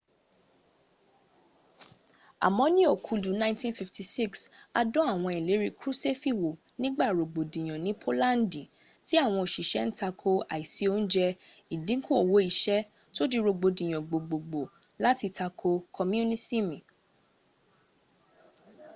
àmọ́ ní okudu 1956 a dán àwọn ìlérí kruṣẹ́fì wò nígbà rogbodiyan ní polandi m tí àwọn oṣiṣẹ́ ń takò àìsí oúnjẹ́ ìdínkù owó iṣẹ́ tó dí rogbodiyan gbogbogbò láti takò komunisimi